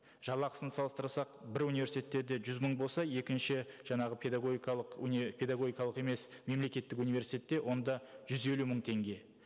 жалақысын салыстырсақ бір университеттерде жүз мың болса екінші жаңағы педагогикалық педагогикалық емес мемлекеттік университетте онда жүз елу мың теңге